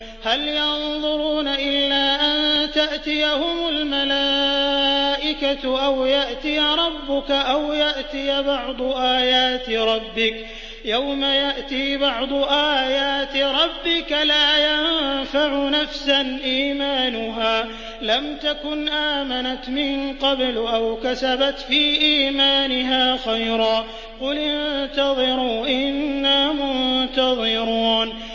هَلْ يَنظُرُونَ إِلَّا أَن تَأْتِيَهُمُ الْمَلَائِكَةُ أَوْ يَأْتِيَ رَبُّكَ أَوْ يَأْتِيَ بَعْضُ آيَاتِ رَبِّكَ ۗ يَوْمَ يَأْتِي بَعْضُ آيَاتِ رَبِّكَ لَا يَنفَعُ نَفْسًا إِيمَانُهَا لَمْ تَكُنْ آمَنَتْ مِن قَبْلُ أَوْ كَسَبَتْ فِي إِيمَانِهَا خَيْرًا ۗ قُلِ انتَظِرُوا إِنَّا مُنتَظِرُونَ